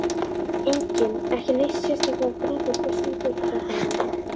Enginn ekki neitt sérstaklega grófur Besti íþróttafréttamaðurinn?